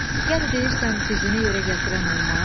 Yəni deyirsən dizini yerə gətirən olmaz?